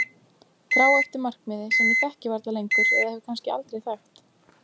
Þrá eftir markmiði sem ég þekki varla lengur eða hef kannski aldrei þekkt.